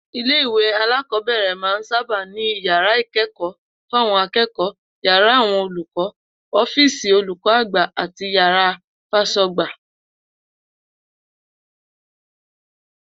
Ilé-ìwé alákò̩ó̩bè̩rè̩ máa ń sábà ní yàrá ìké̩kò̩ó̩ fáwo̩n aké̩kò̩ó̩, yàrá àwo̩n olùkó̩, ó̩fíìsì olùkó̩ àgbà àti yàrá fás̩ó̩gbà